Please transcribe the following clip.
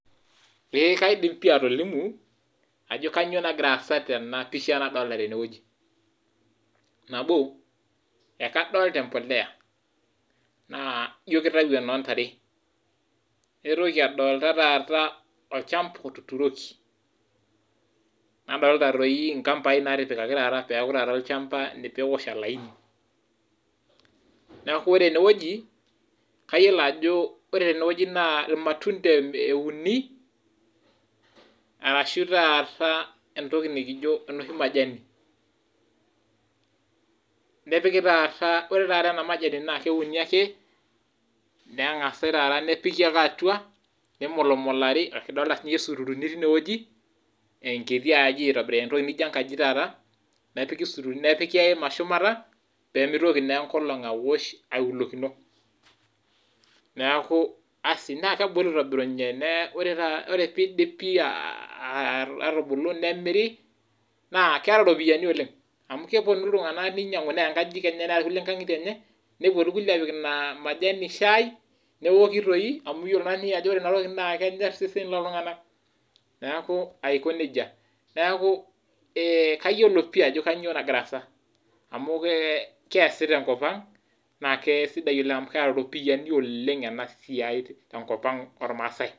Eeh kaidim pii atolimu ajo kanyo nagira aasa tena pisha nadolta tene wueji, nabo: e kadolta embolea naa ijo kitau enoo ntare, naitoki adolta taata olchamba otuturoki, nadolta toi nkambai natipikaki taata peeku taata olchamba pee ewosh olaini. Neeku ore ene woji kayiolo ajo kore tene wueji naa ir matunda euni arashu taata entoki nekijo enoshi mathani nepiki taata ore taata ena mathani naake euni neng'asai taata nepiki ake atua nimulmulari kidolta siinye sururu ni tine wueji enkiti aji itobira entoki nijo enkaji taata nepiki sururu ni nepiki e hema shumata pee mitoki naa enkolong' awosh aiwulokino. Neeku asi naa kebulu aitobirunye nee ore ore piidipi atubulu nemiri naa keeta ropiani oleng' amu keponu iltung'anak ninyang'u neya nkajijik enye neya irkulie nkang'itie enye, nepuo irkulie aapik ina mathani shai newoki toi amu iyiolo naa iye ajo ore inatoki naa kenyor seseni looltung'anak neeku aiko neija. Neeku kayiolo pii ajo kanyo nagira aasa amu keasi te nkop ang' naake sidai oleng' amu keeta iropiani oleng' ena siai te nkop ang' ormaasai.